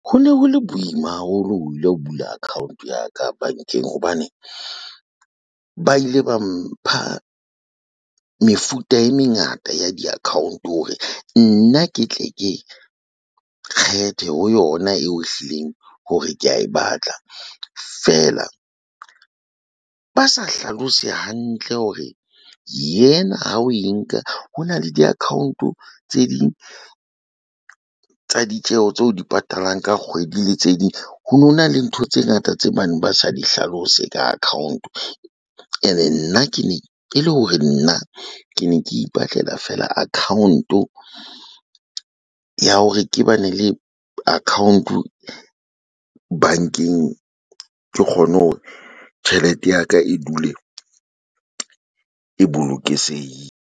Ho ne ho le boima haholo ho ile ho bula account ya ka bankeng hobane ba ile ba mpha mefuta e mengata ya di-account hore nna ke tle ke kgethe ho yona eo ehlileng hore ke ya e batla fela ba sa hlalose hantle hore yena ha o e nka ho na le di-account-o tse ding tsa ditjeho tse o di patalang ka kgwedi le tse ding ho no na le ntho tse ngata tse bane ba sa di hlalose ka account ene nna ke ne ke le hore nna ke ne ke ipatlela fela account ho ya hore ke ba ne le account bankeng. Ke kgone hore tjhelete ya ka e dule e bolokisehile.